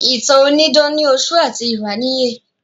Ìtàn onídán ní ọ̀ṣọ́ àti ìráníyè